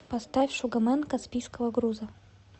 поставь шугамен каспийского груза